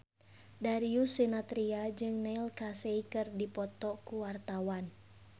Darius Sinathrya jeung Neil Casey keur dipoto ku wartawan